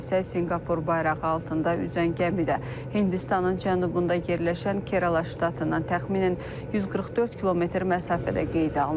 Hadisə Sinqapur bayrağı altında üzən gəmidə Hindistanın cənubunda yerləşən Kerala ştatından təxminən 144 km məsafədə qeydə alınıb.